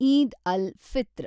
Eid al, Fitr